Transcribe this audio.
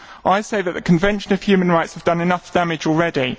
I say that the Convention on Human Rights has done enough damage already.